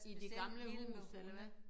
I det gamle hus eller hvad?